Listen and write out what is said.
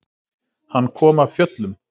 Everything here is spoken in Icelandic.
Hann kom af fjöllum.